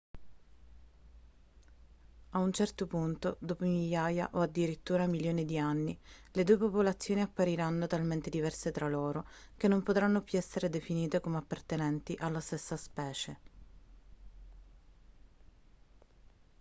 a un certo punto dopo migliaia o addirittura milioni di anni le due popolazioni appariranno talmente diverse tra loro che non potranno più essere definite come appartenenti alla stessa specie